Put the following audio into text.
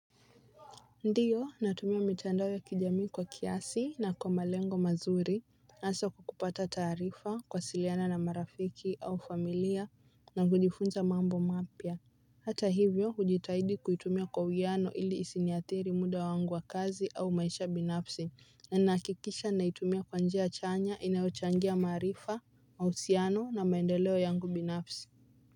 Ndiyo natumia mitandao ya kijamii kwa kiasi na kwa malengo mazuri hasa kwa kupata taarifa kuwasiliana na marafiki au familia na kujifunza mambo mapya hata hivyo hujitahidi kuitumia kwa uwiano ili isiniathiri muda wangu wa kazi au maisha binafsi na nakikisha naitumia kwa njia chanya inayochangia maarifa au uhusiano na maendeleo yangu binafsi.